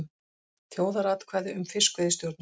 Þjóðaratkvæði um fiskveiðistjórnun